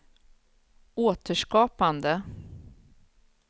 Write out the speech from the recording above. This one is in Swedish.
återskapande